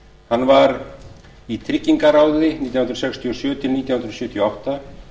hann var í tryggingaráði nítján hundruð sextíu og sjö til nítján hundruð sjötíu og átta